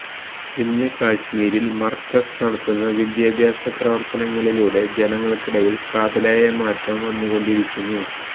ഇന്ന് കശ്മീരില് മര്കസ് നടത്തുന്ന വിദ്യാഭ്യാസ പ്രവര്ത്തനങ്ങളിലൂടെ ജനങ്ങള്ക്കിടയില് കാതലായ മാറ്റം വന്നു കൊണ്ടിരിക്കുന്നു